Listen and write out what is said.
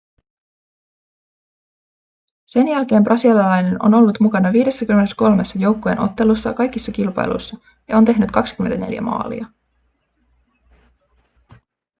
sen jälkeen brasilialainen on ollut mukana 53:ssa joukkueen ottelussa kaikissa kilpailuissa ja on tehnyt 24 maalia